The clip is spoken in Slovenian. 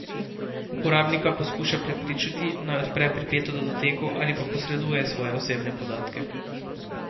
Uporabnika poskuša prepričati, naj odpre pripeto datoteko ali pa posreduje svoje osebne podatke.